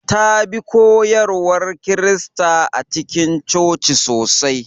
Ta bi koyarwar Kirista a cikin coci sosai.